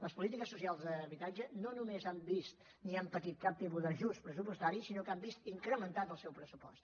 les polítiques socials d’habitatge no només no han vist ni han patit cap tipus d’ajust pressupostari sinó que han vist incrementat el seu pressupost